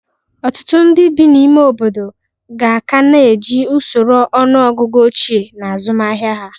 Ọtụtụ ndị bi n'ime obodo ga ka na-eji usoro ọnụọgụgụ ochie n'azụmahịa ha.